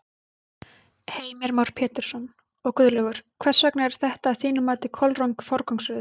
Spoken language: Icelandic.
Heimir Már Pétursson: Og Guðlaugur, hvers vegna er þetta að þínu mati kolröng forgangsröðun?